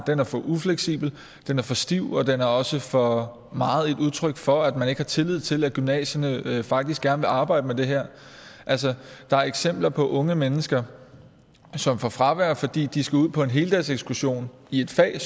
den er for ufleksibel den er for stiv og den er også for meget et udtryk for at man ikke har tillid til at gymnasierne faktisk gerne vil arbejde med det her altså der er eksempler på unge mennesker som får fravær fordi de skal ud på en heldagsekskursion i et fag